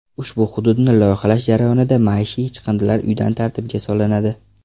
Ushbu hududni loyihalash jarayonida maishiy chiqindilar uyda tartibga solinadi.